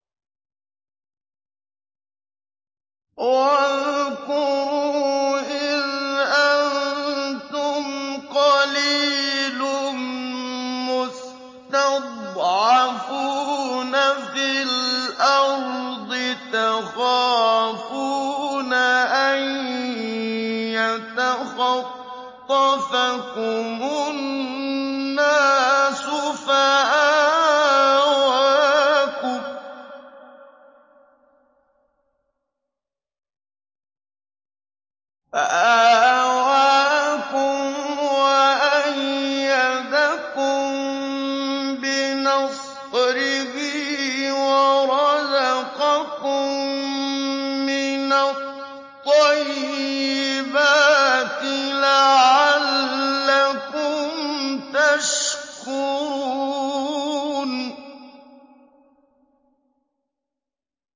وَاذْكُرُوا إِذْ أَنتُمْ قَلِيلٌ مُّسْتَضْعَفُونَ فِي الْأَرْضِ تَخَافُونَ أَن يَتَخَطَّفَكُمُ النَّاسُ فَآوَاكُمْ وَأَيَّدَكُم بِنَصْرِهِ وَرَزَقَكُم مِّنَ الطَّيِّبَاتِ لَعَلَّكُمْ تَشْكُرُونَ